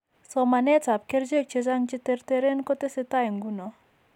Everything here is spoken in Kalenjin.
Somaneetap kerchek chechang' che terteren kotesetai ng'uno.